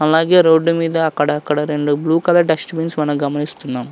అలాగే రోడ్డు మీద అక్కడక్కడ రెండు బ్లూ కలర్ డస్ట్ బిన్స్ మనం గమనిస్తున్నాం.